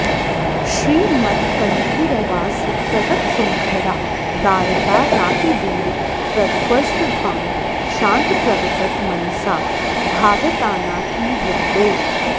श्रीमत्कण्ठीरवास्य प्रतत सुनखरा दारितारातिदूर प्रद्ध्वस्तध्वान्त शान्त प्रवितत मनसा भावितानाकिवृन्दैः